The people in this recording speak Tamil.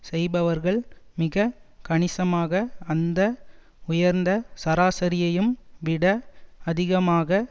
செய்பவர்கள் மிக கணிசமாக அந்த உயர்ந்த சராசரியையும் விட அதிகமாக